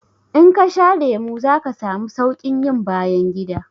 In kasha lemu zaka samu saukin yin bayangida